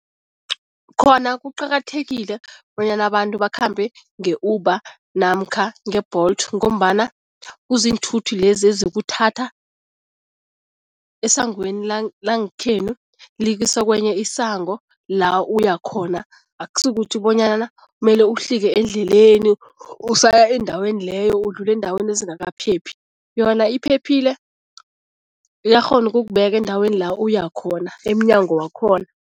Khona kuqakathekile bonyana abantu bakhambe nge-Uber namkha nge-Bolt ngombana kuziinthuthi lezi ezikuthatha esangweni langekhenu, likusa kwenye isango la uyakhona. Akusikukuthi bonyana mele uhlike endleleni, usaya endaweni leyo, udlule eendaweni ezingakaphephi. Yona iphephile, uyakghona ukukubeka eendaweni la uyakhona, emnyango wakhona.